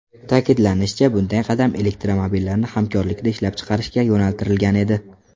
Ta’kidlanishicha, bunday qadam elektromobillarni hamkorlikda ishlab chiqarishga yo‘naltirilgan edi.